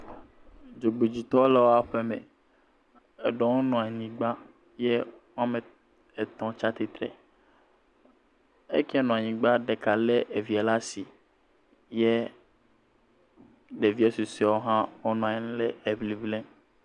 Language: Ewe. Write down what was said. Dzogbedzitɔwo le woa ƒeme. Eɖewo nɔ anyigba ye woame etɔ̃ tsa tsitre. Eyi ke nɔ anyigba, ɖeka lé evia lé asi. Ɖeviɛ susuɛwo hã, wonɔ anyi le eŋiŋlim.